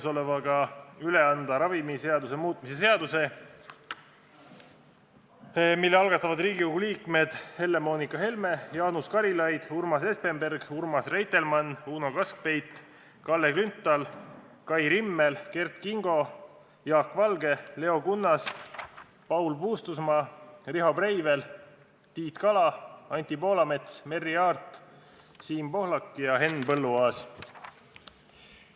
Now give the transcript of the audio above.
Soovin üle anda ravimiseaduse muutmise seaduse eelnõu, mille algatavad Riigikogu liikmed Helle-Moonika Helme, Jaanus Karilaid, Urmas Espenberg, Urmas Reitelmann, Uno Kaskpeit, Kalle Grünthal, Kai Rimmel, Kert Kingo, Jaak Valge, Leo Kunnas, Paul Puustusmaa, Riho Breivel, Tiit Kala, Anti Poolamets, Merry Aart, Siim Pohlak ja Henn Põlluaas.